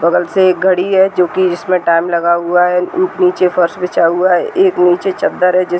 बगल से एक घडी है जोकि जिसमें टाइम लगा हुआ है। नीचे फर्श बिछा हुआ है। एक नीचे चद्दर है जिस --